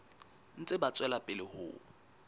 ntse ba tswela pele ho